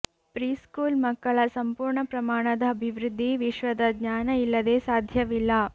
preschool ಮಕ್ಕಳ ಸಂಪೂರ್ಣ ಪ್ರಮಾಣದ ಅಭಿವೃದ್ಧಿ ವಿಶ್ವದ ಜ್ಞಾನ ಇಲ್ಲದೆ ಸಾಧ್ಯವಿಲ್ಲ